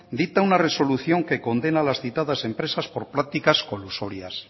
dicta una resolución que condena a las citadas empresas por prácticas colusorias